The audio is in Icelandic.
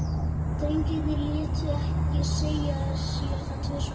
Drengirnir létu ekki segja sér það tvisvar.